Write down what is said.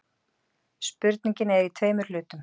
Spurningin er í tveimur hlutum.